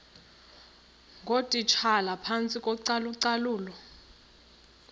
ngootitshala phantsi kocalucalulo